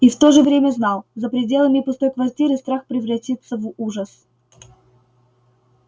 и в то же время знал за пределами пустой квартиры страх превратится в ужас